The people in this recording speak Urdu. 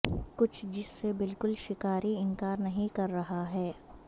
کچھ جس سے بالکل شکاری انکار نہیں کر رہا ہے